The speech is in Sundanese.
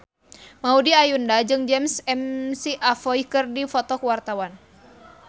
Maudy Ayunda jeung James McAvoy keur dipoto ku wartawan